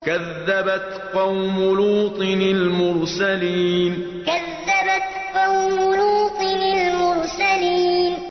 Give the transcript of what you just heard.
كَذَّبَتْ قَوْمُ لُوطٍ الْمُرْسَلِينَ كَذَّبَتْ قَوْمُ لُوطٍ الْمُرْسَلِينَ